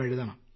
എഴുതണം